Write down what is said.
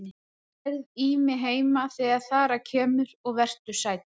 Þú nærð í mig heima þegar þar að kemur og vertu sæll.